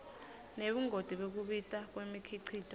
nebungoti bekubita kwemikhicito